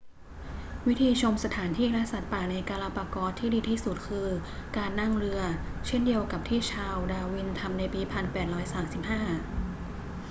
วิธีชมสถานที่และสัตว์ป่าในกาลาปากอสที่ดีที่สุดคือการนั่งเรือ เช่นเดียวกับที่ชาร์ลส์ ดาร์วิน ทำในปี 1835